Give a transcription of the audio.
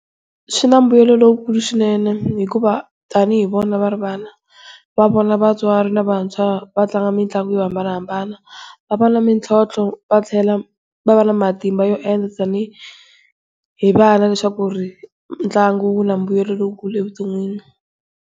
Swi na mbuyelo lowukulu swinene hikuva tanihi vo na va ri vana va vona vatswari lavantshwa vatlanga mitlangu yo hambanahambana, va va na mitlhotlho va tlhela va va na matimba yo tanihi vana leswaku ntlangu wu na mbuyelo lowukulu evuton'wini.